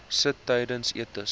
sit tydens etes